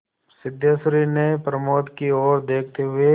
सिद्धेश्वरी ने प्रमोद की ओर देखते हुए